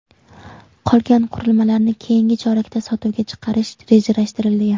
Qolgan qurilmalarni keyingi chorakda sotuvga chiqarish rejalashtirilgan.